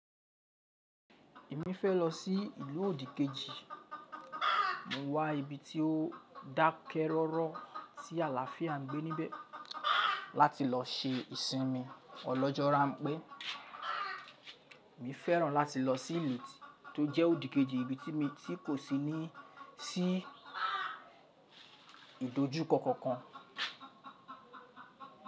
Èmi fẹ́ lọ sí ìlú òdìkejì, mo wá ibi tí ó dákẹ́rọ́rọ́ tí àlàáfíà ń gbé níbẹ̀, láti lọ se ìsinmi ọlọ́jo ranpé, mi fẹ́ràn láti lọ sí ìlú to jẹ́ òdìkejì ibi tí mo ti kò sí ní sí ìdójúkọ́ kankan.